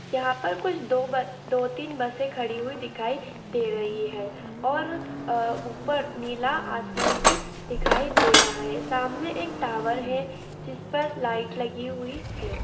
यहाँ पर कुछ दो ब दो तीन बसें खड़ी हुई दिखाई दे रही हैं और ऊपर नीला आसमान भी दिखाई दे रहा है सामने एक टावर है जिस पर लाइट लगी हुई है।